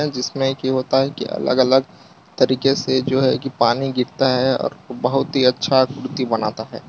जिसमें की होता है कि अलग-अलग तरीके से जो है कि पानी गिरता है और बहुत ही अच्छा कुर्ती बनता है।